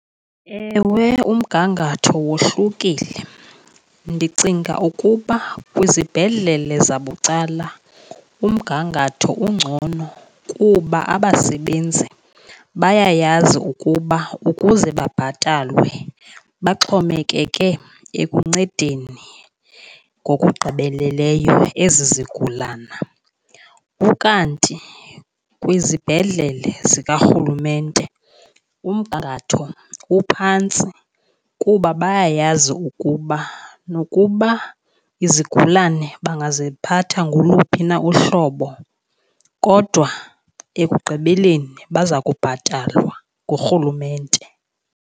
Ewe, umgangatho wohlukile, ndicinga ukuba kwizibhedlele zabucala umgangatho ungcono kuba abasebenzi bayayazi ukuba ukuze babhatalwe baxhomekeke ekuncedeni ngokugqibeleleyo ezi zigulana. Ukanti kwizibhedlele zikarhulumente umgangatho uphantsi kuba bayayazi ukuba nokuba izigulana bangaziphatha ngoluphi na uhlobo kodwa ekugqibeleni baza kubhatalwa ngurhulumente.